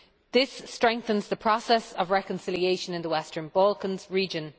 This strengthens the process of reconciliation in the Western Balkans region.